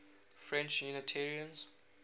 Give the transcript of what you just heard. french unitarians